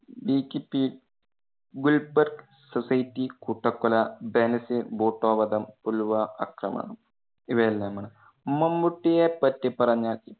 Gulbarg society കൂട്ടക്കൊല, ബേനസീർ ഭൂട്ടോ വധം, പുൽവാമ ആക്രമണം ഇവയെല്ലാമാണ്, മമ്മൂട്ടിയേ പറ്റി പറഞ്ഞാൽ